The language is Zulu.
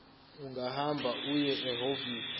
ungahamba uye ehhovisi